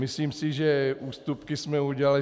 Myslím si, že ústupky jsme udělali.